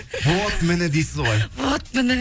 вот міне дейсіз ғой вот міне